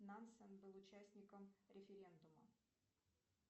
нансан был участником референдума